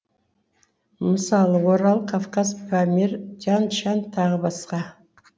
мысалы орал кавказ памир тянь шань тағы басқа